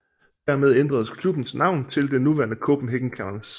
Dermed ændredes klubben navn til det nuværende Copenhagen Cannons